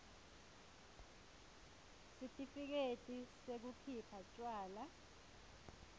sitifiketi sekukhipha tjwala